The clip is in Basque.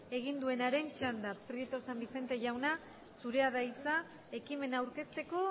egin duenaren txanda prieto san vicente jauna zurea da hitza ekimena aurkezteko